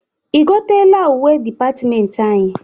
I goteela uwe dịpatịmentị anyị?